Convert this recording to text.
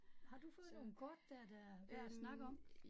Har du fået nogle kort der, der værd at snakke om?